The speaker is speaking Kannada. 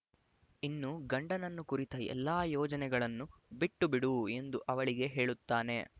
ಇನ್ನು ಗಂಡನನ್ನು ಕುರಿತ ಎಲ್ಲ ಯೋಚನೆಗಳನ್ನೂ ಬಿಟ್ಟುಬಿಡು ಎಂದು ಅವಳಿಗೆ ಹೇಳುತ್ತಾನೆ